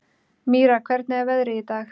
Mýra, hvernig er veðrið í dag?